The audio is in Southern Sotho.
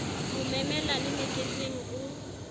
mo memela le meketeng o